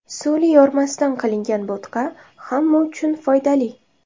Suli yormasidan qilingan bo‘tqa hamma uchun foydali.